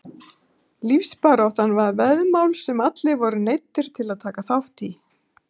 Lífsbaráttan var veðmál sem allir voru neyddir til að taka þátt í.